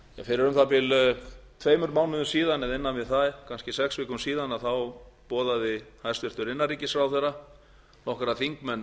um það bil tveimur málum síðan eða innan við það kannski sex vikum síðan boðaði hæstvirtur innanríkisráðherra nokkra þingmenn